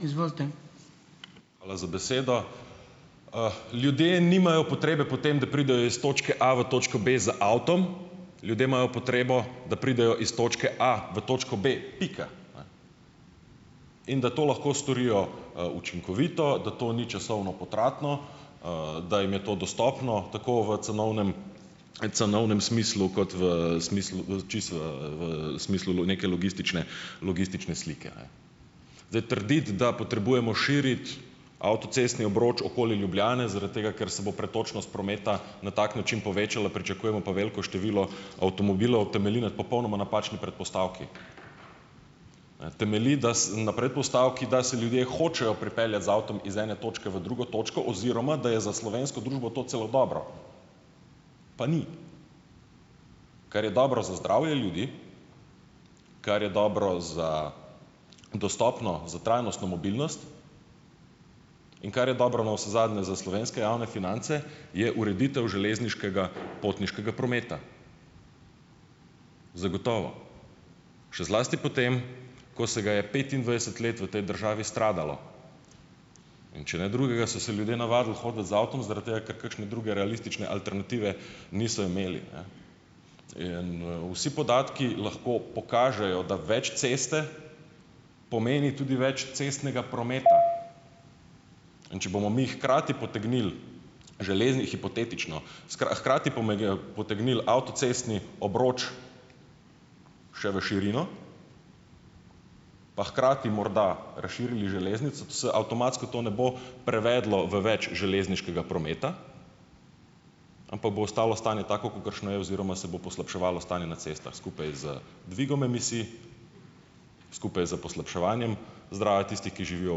Hvala za besedo. Ljudje nimajo potrebe po tem, da pridejo iz točke A v točko B z avtom. Ljudje imajo potrebo, da pridejo iz točke A v točko B, pika, in da to lahko storijo, učinkovito, da to ni časovno potratno, da jim je to dostopno tako v cenovnem cenovnem smislu kot v smislu, čisto, v smislu neke logistične, logistične slike, ne. Zdaj, trditi, da potrebujemo širiti avtocestni obroč okoli Ljubljane zaradi tega, ker se bo pretočnost prometa na tak način povečala, pričakujemo pa veliko število avtomobilov, temelji na popolnoma napačni predpostavki. Temelji da na predpostavki, da se ljudje hočejo pripeljati z avtom iz ene točke v drugo točko, oziroma, da je za slovensko družbo to celo dobro, pa ni. Kar je dobro za zdravje ljudi, kar je dobro za dostopno, za trajnostno mobilnost in kar je dobro navsezadnje za slovenske javne finance, je ureditev železniškega potniškega prometa. Zagotovo. Še zlasti potem, ko se ga je petindvajset let v tej državi stradalo. In če ne drugega, so se ljudje navadili hoditi z avtom zaradi tega, ker kakšne druge realistične alternative niso imeli, ne. In, vsi podatki lahko pokažejo, da več ceste pomeni tudi več cestnega prometa. In če bomo mi hkrati potegnili, hipotetično, hkrati potegnili avtocestni obroč še v širino, pa hkrati morda razširili železnico, to se avtomatsko to ne bo prevedlo v več železniškega prometa, ampak bo ostalo stanje tako, kakršno je, oziroma se bo poslabševalo stanje na cestah skupaj z dvigom emisij, skupaj s poslabševanjem zdravja tistih, ki živijo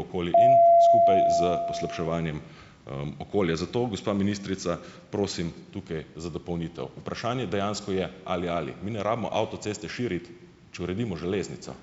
okoli in skupaj s poslabševanjem, okolja. Zato, gospa ministrica, prosim tukaj za dopolnitev. Vprašanje dejansko je ali - ali. Mi ne rabimo avtoceste širiti, če uredimo železnico.